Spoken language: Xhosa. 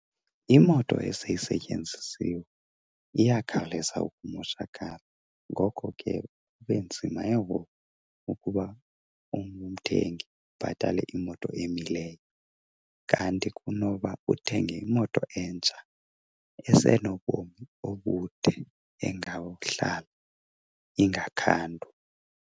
Imoto eseyisetyenzisiwe iyakhawuleza ukumoshakala, ngoko ke kube nzima ke ngoku ukuba umthengi abhatale imoto emileyo, kanti kunoba uthenge imoto entsha esenobomi obude engawuhlala ingakhandwa.